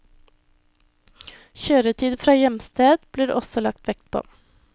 Kjøretid fra hjemsted blir det også lagt vekt på.